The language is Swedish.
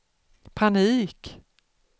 panik